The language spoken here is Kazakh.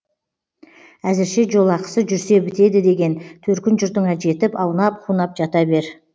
әзірше жолақысы жүрсе бітеді деген төркін жұртыңа жетіп аунап қунап жата бер